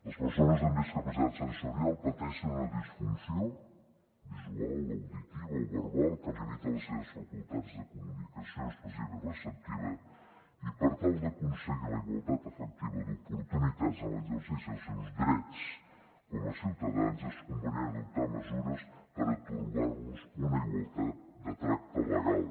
les persones amb discapacitat sensorial pateixen una disfunció visual auditiva o verbal que limita les seves facultats de comunicació expressiva i receptiva i per tal d’aconseguir la igualtat efectiva d’oportunitats en l’exercici dels seus drets com a ciutadans és convenient adoptar mesures per atorgar los una igualtat de tracte legal